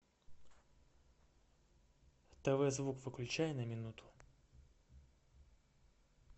тв звук выключай на минуту